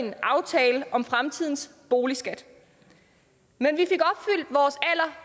en aftale om fremtidens boligskat men